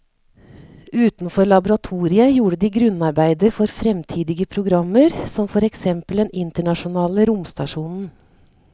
Utenfor laboratoriet gjorde de grunnarbeidet for fremtidige programmer som for eksempel den internasjonale romstasjonen.